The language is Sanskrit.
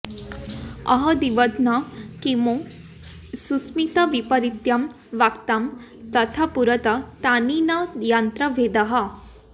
आहोस्विदत्र किमु सुस्मित वैपरीत्यं वाक्तां तवापुरुत तानि नु यन्न भेदः